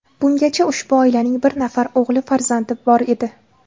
Bungacha ushbu oilaning bir nafar o‘g‘il farzandi bor edi.